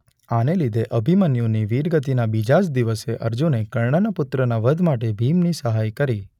આને લીધે અભિમન્યૂની વીર ગતિના બીજે જ દિવસે અર્જુને કર્ણના પુત્રના વધ માટે ભીમને સહાય કરી.